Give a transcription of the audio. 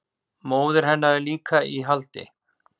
Móðir hennar er líka í haldi